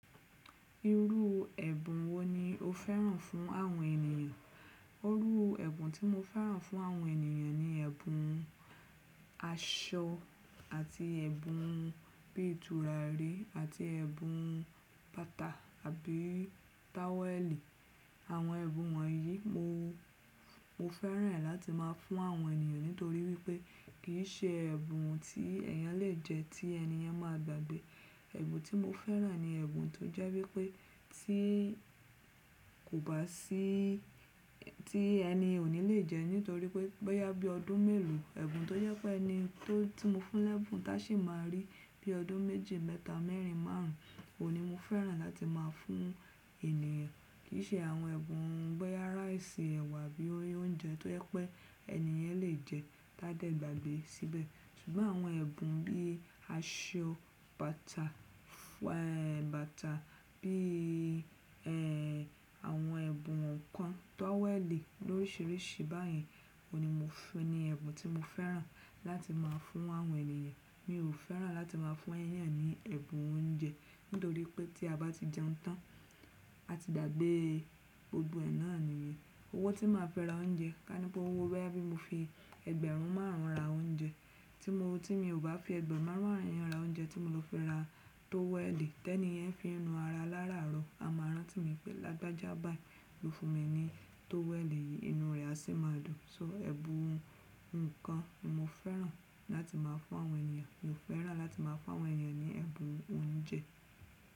Irú ẹ̀bùn wo ni o fẹ́ràn fún àwọn ènìyàn? Òru ẹ̀bùn tí mo fẹ́ràn fún àwọn ènìyàn ni ẹ̀bùn aṣọ àti ẹ̀bùn bí turarí àti ẹ̀bùn bàtà àbí táwẹ̀lì. Àwọn ẹ̀bùn wọ̀nyí mo, mo fẹ́ràn ẹ́ láti má a fún àwọn ènìyàn nítorí wípé kì í ṣe ẹ̀bùn tí ẹ̀yàn lè jẹ ti ẹni yẹn máa gbàgbé. Ẹ̀bùn tí mo fẹ́ràn ni ẹ̀bùn tó jẹ́ wípé tí kò bá sí, tí ẹni ò ní lè jẹ́ nítorí pé bọ́yá bí ọdún mélòó, ẹ̀bùn tó jẹ́ pé ẹni tó tí mo fún lẹ́bùn tá sì máa rí bí ọdún méje, mẹ́ta, mẹ́rin, márùn oún ní mo fẹ́ràn láti má a fún ènìyàn. Kì í ṣe àwọn ẹ̀bùn bọ́yá ráìsì, ẹ̀wà bí oúnjẹ tó jẹ́ pé ẹni yẹn lè jẹẹ́ tá dá gbagbe síbẹ̀. Ṣùgbọ́n àwọn ẹ̀bùn bí i aṣọ, bàtà, bàtà bí e àwọn ẹ̀bùn nǹkan, táwẹ̀lì lóṣìròṣì báyìí òní mo fún ni ẹ̀bùn tí mo fẹ́ràn láti má a fún àwọn ènìyàn. Mi ò fẹ́ràn láti má a fún ẹyan ní ẹ̀bùn oúnjẹ nítorí pé tí a bá ti jẹun tán, a ti dàgbé gbogbo ẹ̀ náà nìyẹn. Owó tí màá fi ra oúnjẹ, ká ní pé owó boya bí mo fi ẹgbẹ̀rún márùn ra oúnjẹ tí mo, tí mi ò bá fi ẹgbẹ̀rún márùn ra oúnjẹ tí mo lọ fi ra táwẹ̀lì tẹ́ni yẹn fí nu ara lára àárọ̀. A máa rántí mi pé lágbájá báyìí ló fún mi ní táwẹ̀lì yìí, inú rẹ̀ a sì máa dùn. Tori ẹ̀bùn nǹkan mo fẹ́ràn láti má a fún àwọn ènìyàn. Mi ò fẹ́ràn láti má a fún àwọn ènìyàn ní ẹ̀bùn oúnjẹ.